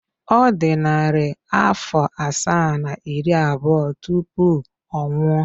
Ọ dị narị afọ asaa na iri abụọ tupu ọ nwụọ.